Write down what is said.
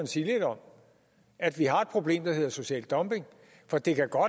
sige lidt om at vi har et problem der hedder social dumping for det kan godt